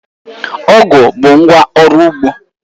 Ọ̀gu bụ ngwá ọrụ ugbo